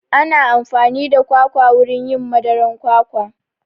Ana amfani da kwakwa wurin yin madaran kwakwa